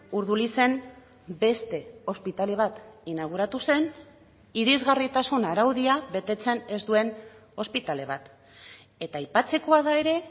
urdulizen beste ospitale bat inauguratu zen irisgarritasun araudia betetzen ez duen ospitale bat eta aipatzekoa da ere